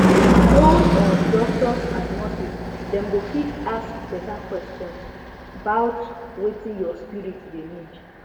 hold on doctors and nurses dem go fit ask better questions bout wetin your spirit dey need